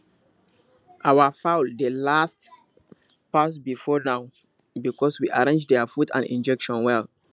our fowl dey last pass before now because we arrange their food and injection well